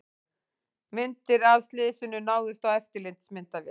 Myndir af slysinu náðust á eftirlitsmyndavél